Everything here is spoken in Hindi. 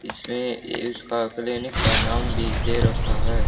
इसमें इसका क्लीनिक का नाम भी दे रखा है।